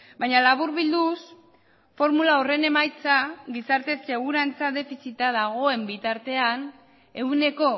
baina laburbilduz formula horren emaitza gizarte segurantza defizita dagoen bitartean ehuneko